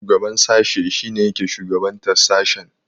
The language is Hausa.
Shugaban sashe shine yake shugabantar sashen.